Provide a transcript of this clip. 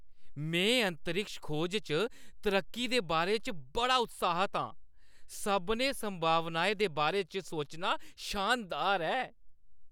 में अंतरिक्ष खोज च तरक्की दे बारे च बड़ा उत्साहत आं! सभनें संभावनाएं दे बारे च सोचना शानदार ऐ।